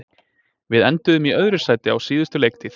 Við enduðum í öðru sæti á síðustu leiktíð.